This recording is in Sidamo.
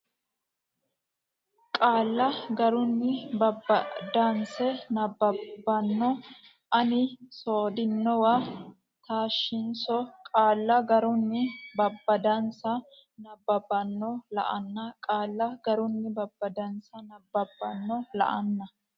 qaalla garunni babbadansa nabbabbanno la anni sodhinowa taashshinsa qaalla garunni babbadansa nabbabbanno la anni qaalla garunni babbadansa nabbabbanno la anni.